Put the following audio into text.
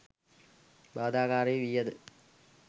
බාධාකාරී වී ඇත